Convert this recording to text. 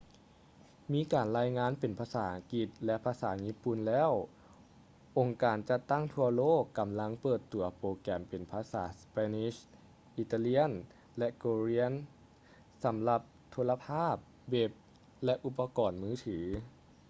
ມີການລາຍງານເປັນພາສາອັງກິດ ແລະ ພາສາຍີ່ປຸ່ນແລ້ວ ອົງການຈັດຕັ້ງທົ່ວໂລກກຳລັງເປີດຕົວໂປຣແກມເປັນພາສາ spanish italian ແລະ korean ສຳລັບໂທລະພາບ ເວັບ ແລະ ອຸປະກອນມືຖື